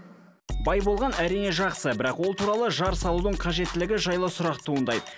бай болған әрине жақсы бірақ ол туралы жар салудың қажеттілі жайлы сұрақ туындайды